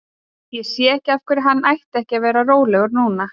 Ég sé ekki af hverju hann ætti ekki að vera rólegur núna?